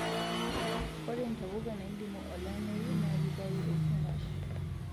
Ore ntapuka naidimu olameyu na ketayu esumash